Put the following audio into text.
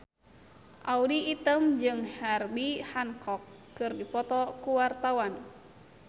Audy Item jeung Herbie Hancock keur dipoto ku wartawan